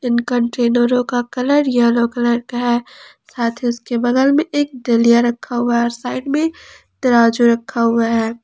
इन कंटेनरो का colour yellow colour का है साथ ही उसके बगल में एक डलिया रखा हुआ है और साइड में तराजू रखा हुआ है।